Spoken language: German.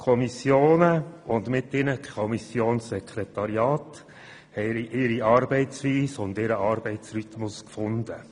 Die Kommissionen und mit ihnen die Kommissionssekretariate haben ihre Arbeitsweise und ihren Arbeitsrhythmus gefunden.